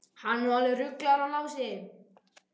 Hann er nú alveg ruglaður hann Lási.